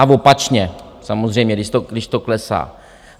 A opačně samozřejmě, když to klesá.